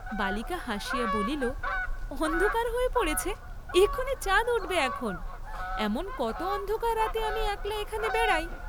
বালিকা হাসিয়া বলিল, অন্ধকার হয়ে পড়েছে, এখনি চাঁদ উঠবে এখন, এমন কত অন্ধকার রাতে আমি একলা এখানে বেড়াই।